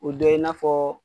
O dɔ ye i n'a fɔ